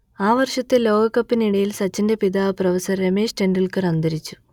ആ വർഷത്തെ ലോകകപ്പിനിടയിൽ സച്ചിന്റെ പിതാവ് പ്രൊഫസർ രമേശ് തെൻഡുൽക്കർ അന്തരിച്ചു